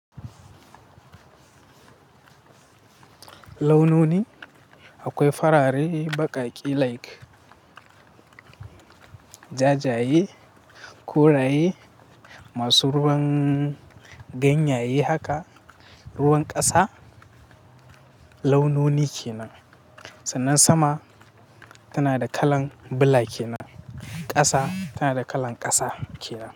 Launoni akwai farare, baƙaƙe, like, jajaye, koraye masu ruwan ganyaye haka. Ruwan ƙasa launoni ke nan. Sannan sama tana da kalan bula ke nan. Ƙasa tana da kalan ƙasa ke nan.